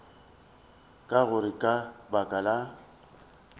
ka gore ka baka la